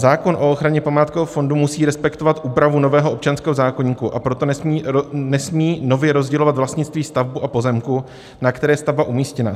Zákon o ochraně památkového fondu musí respektovat úpravu nového občanského zákoníku, a proto nesmí nově rozdělovat vlastnictví stavby a pozemku, na které je stavba umístěna.